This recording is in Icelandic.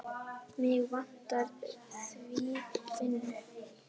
Mig vantar því vinnu.